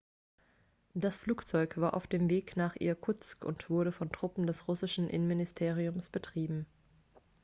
das flugzeug war auf dem weg nach irkutsk und wurde von truppen des russischen innenministeriums betrieben